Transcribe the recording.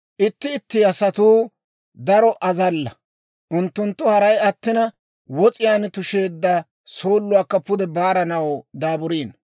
Itti itti asatuu daro azalla; unttunttu haray attina, wos'iyaan tusheedda sooluwaakka pude baaranaw daaburiino.